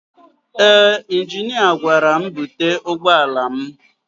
Ee injinia gwara m búte ụgbọala m.